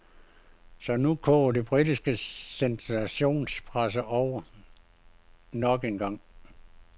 Så nu koger den britiske sensationspresse over nok engang.